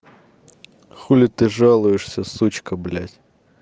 чего ты жалуешься сучка блядь